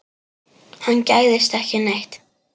Hann gægðist ekki neitt.